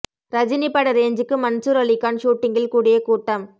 ரஜினி பட ரேஞ்சுக்கு மன்சூர் அலி கான் ஷூட்டிங்கில் கூடிய கூட்டம்